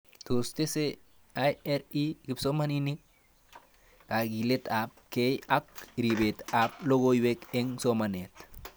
Tos tese IRI kipsomanik?,kakilet ab kei ak ripet ab lakok eng' somanet?